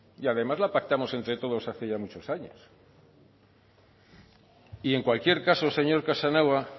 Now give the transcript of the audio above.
y además la pactamos entre todos hace ya muchos años y en cualquier caso señor casanova